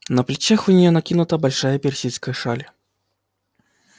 на плечах у нее накинута большая персидская шаль